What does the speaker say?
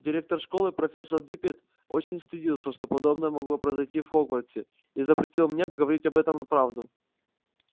директор школы профессор диппет очень стыдился что подобное могло произойти в хогвартсе и запретил мне говорить об этом правду